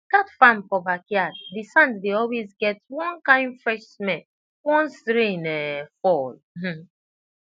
that farm for backyard the sand dey always get one kind fresh smell once rain um fall um